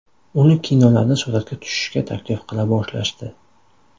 Uni kinolarda suratga tushishga taklif qila boshlashdi.